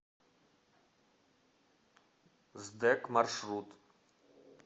сдэк маршрут